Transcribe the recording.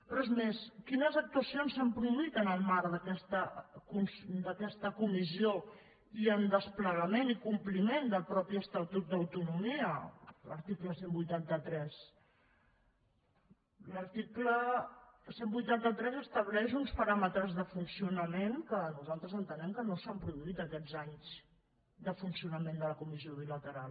però és més quines actuacions s’han produït en el marc d’aquesta comissió i en desplegament i compliment del mateix estatut d’autonomia l’article cent i vuitanta tres l’article cent i vuitanta tres estableix uns paràmetres de funcionament que nosaltres entenem que no s’han produït aquests anys de funcionament de la comissió bilateral